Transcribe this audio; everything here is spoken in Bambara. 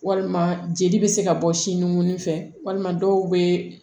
Walima jeli bɛ se ka bɔ sinukonin fɛ walima dɔw bɛ